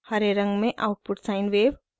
हरे रंग में output sine wave और